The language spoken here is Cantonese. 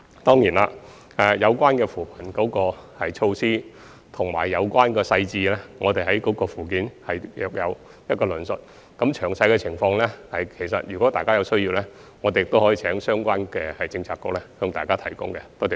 相關扶貧措施和所涉及的細節，我們已在附件有所論述。至於詳細的情況，如有需要，我們亦可請相關政策局提供予各議員。